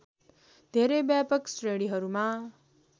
धेरै व्यापक श्रेणीहरूमा